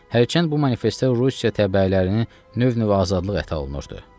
Hərçənd bu manifestdə Rusiya təbəələrinə növbənöv azadlıq əta olunurdu.